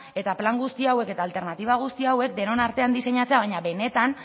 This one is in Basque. eta plan guzti hauek eta alternatiba guzti hauek denon artean diseinatzea baina benetan